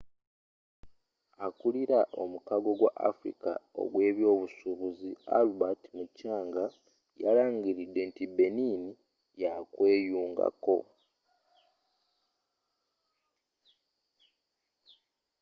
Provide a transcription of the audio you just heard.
akulira omukago gw'afrika ogw'ebyobusuubuzi albert muchanga yalangiridde nti benin yakweyungako